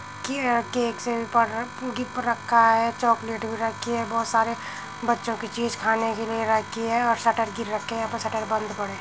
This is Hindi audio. प रखा है चॉकलेट भी रखी है। बहोत सारी बच्चों की चीज खाने के लिए रखी हैं और शटर गिर रखे हैं। यहाँ पे शटर बंद पड़े।